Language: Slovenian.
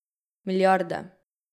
Milijarde.